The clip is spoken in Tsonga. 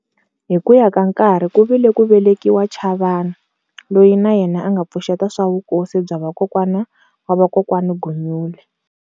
Hikuya ka nkarhi kuvile ku velekiwa chavani, Loyi na yena anga pfuxeta swa vukosi bya va kowani wa va kokwana Gunyule.